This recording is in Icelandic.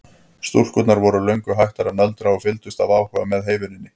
Stúlkurnar voru löngu hættar að nöldra og fylgdust af áhuga með heyvinnunni.